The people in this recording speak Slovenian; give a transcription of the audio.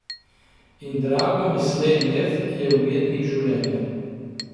In Drago Mislej Mef je umetnik življenja.